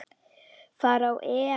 fara á EM.